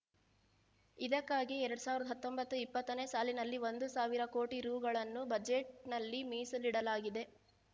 ಇದಕ್ಕಾಗಿ ಎರಡ್ ಸಾವಿರದ ಹತ್ತೊಂಬತ್ತು ಇಪ್ಪತ್ತನೇ ಸಾಲಿನಲ್ಲಿ ಒಂದು ಸಾವಿರ ಕೋಟಿ ರೂ ಗಳನ್ನು ಬಜೆಟ್‌ನಲ್ಲಿ ಮೀಸಲಿಡಲಾಗಿದೆ